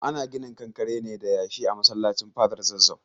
Ana ginin kankare ne da yashi a masallacin fadar zazzau.